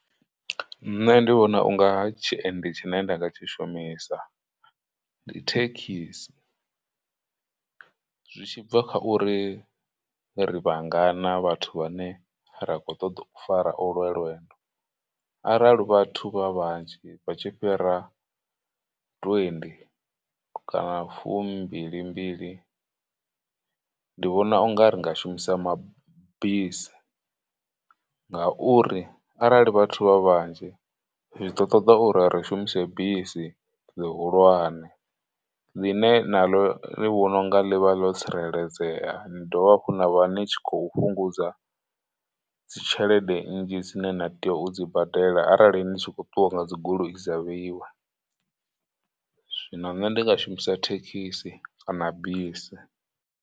Nṋe ndi vhona u nga tshiendi tshine nda nga tshi shumisa ndi thekhisi, zwi tshi bva kha uri ri vhangana vhathu vhane ra khou ṱoḓa u fara olwe lwendo, arali vhathu vha vhanzhi vha tshi fhira twenty kana fumbilimbili. Ndi vhona u nga ri nga shumisa mabisi, ngauri arali vhathu vha vhanzhi zwi ḓo ṱoḓa uri ri shumise bisi ḽihulwane ḽine na ḽo ndi vhona u nga ḽivha ḽo tsireledzea, ni dovha hafhu na vha ni tshi khou fhungudza dzitshelede nnzhi dzine na tea u dzi badela arali ndi tshi khou ṱuwa nga dzi goloi dza vheiwa, zwino nṋe ndi nga shumisa thekhisi kana bisi.